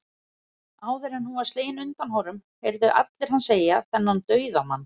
Áður en hún var slegin undan honum, heyrðu allir hann segja, þennan dauðamann